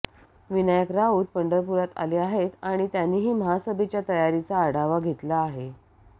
विनायक राऊत पंढरपुरात आले आहेत आणि त्यांनीही महासभेच्या तयारीचा आढावा घेतला आहे